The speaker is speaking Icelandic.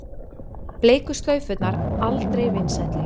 Bleiku slaufurnar aldrei vinsælli